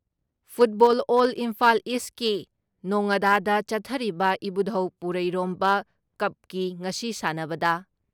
football ꯑꯦꯜ ꯏꯝꯐꯥꯜ ꯏꯁꯀꯤ ꯅꯣꯉꯥꯗꯥꯗ ꯆꯠꯊꯔꯤꯕ ꯏꯕꯨꯙꯧ ꯄꯨꯔꯩꯔꯣꯝꯕ ꯀꯞꯀꯤ ꯉꯁꯤ ꯁꯥꯟꯅꯕꯗ